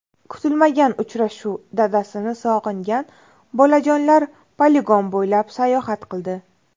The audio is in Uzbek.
Kutilmagan uchrashuv: Dadasini sog‘ingan bolajonlar poligon bo‘ylab sayohat qildi .